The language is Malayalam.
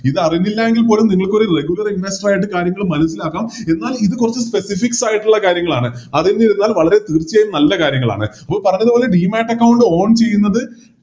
ഇതറിഞ്ഞില്ലയെങ്കിൽ പോലും നിങ്ങൾക്കൊരു Regular investor ആയിട്ട് കാര്യങ്ങൾ മനസിലാക്കാം എന്നാൽ ഇത് കൊറച്ച് Specifics ആയിട്ടുള്ള കാര്യങ്ങളാണ് അറിഞ്ഞിരുന്നാൽ വളരെ തീർച്ചയായും നല്ല കാര്യങ്ങളാണ് അപ്പോൾ പറഞ്ഞത് പോലെ On ചെയ്യുന്നത്